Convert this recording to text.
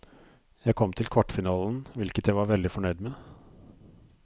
Jeg kom til kvartfinalen, hvilket jeg var veldig fornøyd med.